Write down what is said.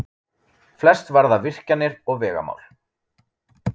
Flest varða virkjanir og vegamál